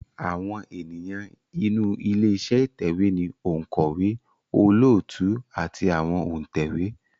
Àwọn ènìyàn inú ilé iṣẹ́ ìtẹ̀wé ni òǹkọ̀wé, olóòtú àti àwọn òǹtẹ̀wé